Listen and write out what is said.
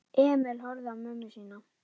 Emil horfði á mömmu sína.